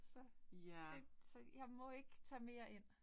Så. Det, så jeg må ikke tage mere ind